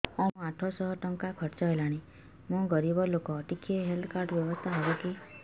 ଆଜ୍ଞା ମୋ ଆଠ ସହ ଟଙ୍କା ଖର୍ଚ୍ଚ ହେଲାଣି ମୁଁ ଗରିବ ଲୁକ ଟିକେ ହେଲ୍ଥ କାର୍ଡ ବ୍ୟବସ୍ଥା ହବ କି